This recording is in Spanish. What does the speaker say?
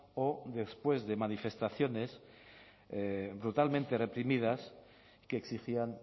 o después de manifestaciones brutalmente reprimidas que exigían